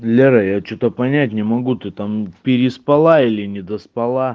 лера я что-то понять не могу ты там переспала или не доспала